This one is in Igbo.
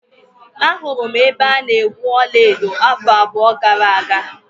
Ahụrụ m ebe a na-egwu ọla edo afọ abụọ gara aga.